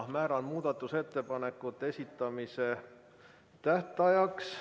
Määran muudatusettepanekute esitamise tähtajaks ...